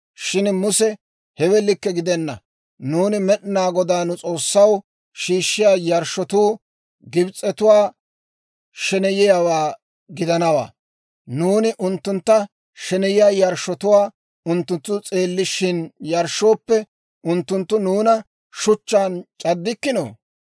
Shin Muse, «Hewe likke gidenna; nuuni Med'inaa Godaa Nu S'oossaw shiishshiyaa yarshshotuu Gibs'etuwaa sheneyiyaawaa gidanawaa; nuuni unttuntta sheneyiyaa yarshshotuwaa unttunttu s'eellishin yarshshooppe, unttunttu nuuna shuchchaan c'addikkinoo?